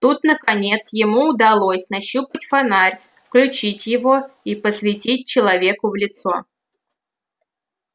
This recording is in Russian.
тут наконец ему удалось нащупать фонарь включить его и посветить человеку в лицо